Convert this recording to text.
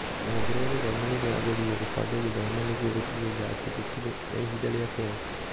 rũhonge rwa gĩthomo nĩrũrageririe kũbanga gĩthomo nĩguo gũtigĩrĩra atĩ gũtire na ihinda rĩateo.